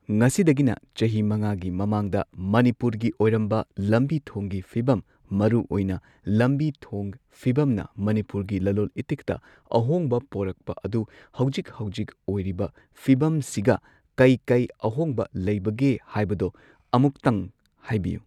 ꯉꯁꯤꯗꯒꯤꯅ ꯆꯍꯤ ꯃꯉꯥꯒꯤ ꯃꯃꯥꯡꯗ ꯃꯅꯤꯄꯨꯔꯒꯤ ꯑꯣꯏꯔꯝꯕ ꯂꯝꯕꯤ ꯊꯣꯡꯒꯤ ꯐꯤꯕꯝ ꯃꯔꯨꯑꯣꯏꯅ ꯂꯝꯕꯤ ꯊꯣꯡ ꯐꯤꯕꯝꯅ ꯃꯅꯤꯄꯨꯔꯒꯤ ꯂꯂꯣꯜ ꯏꯇꯤꯛꯇ ꯑꯍꯣꯡꯕ ꯄꯣꯔꯛꯄ ꯑꯗꯨ ꯍꯧꯖꯤꯛ ꯍꯧꯖꯤꯛ ꯑꯣꯏꯔꯤꯕ ꯐꯤꯕꯝꯁꯤꯒ ꯀꯩ ꯀꯩ ꯑꯍꯣꯡꯕ ꯂꯩꯕꯒꯦ ꯍꯥꯏꯕꯗꯣ ꯑꯃꯨꯛꯇꯪ ꯍꯥꯏꯕꯤꯌꯨ